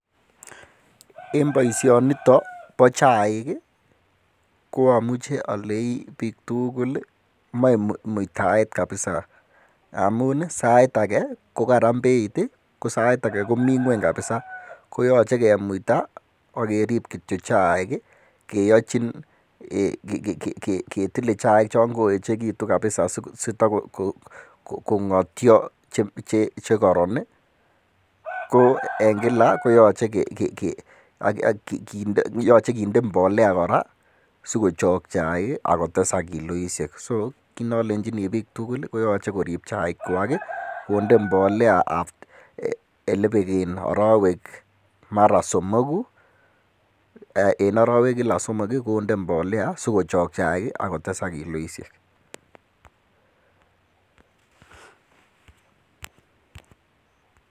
En boishonito bo chaik ii ko amuche oleii biik tukul moe muitaet kabisaa amun sait akee kokaran Beit ko sait ake komii ngweny kabisaa, koyoche kemuita ak kerib kityok chaik keyochin ketile chaik chon koechekitun kabisaa asitokong'otyo chekoron. Ko en kila koyoche kinde mbolea kora sikochok chaik akotesak kiloishek, so kinolenchini biik tukul koyoche korib chaikwak konde mbolea elebek arowek mara somoku en orowek kila somok konde mbolea sikochok chaik ak kotesak kiloishek.